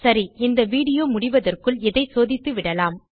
சரி இந்த வீடியோ முடிவதற்குள் இதை சோதித்துவிடலாம்